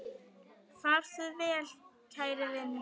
Far þú vel, kæri vinur.